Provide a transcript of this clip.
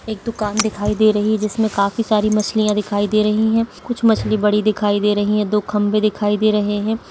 एक दुकान दिखाई दे रही है जिसमे काफी सारी मछलीयां दिखाई दे रही है कुछ मछली बड़ी दिखाई दे रही है दो खंबे दिखाई दे रहे है।